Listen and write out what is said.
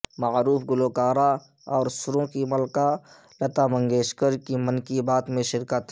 معروف گلوکارہ اور سروں کی ملکہ لتا منگیشکرکی من کی بات میں شرکت